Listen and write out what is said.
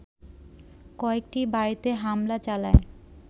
কয়েকটি বাড়িতে হামলা চালায়